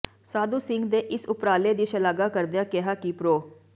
ਸਾਧੂ ਸਿੰਘ ਦੇ ਇਸ ਉਪਰਾਲੇ ਦੀ ਸ਼ਲਾਘਾ ਕਰਦਿਆਂ ਕਿਹਾ ਕਿ ਪ੍ਰੋ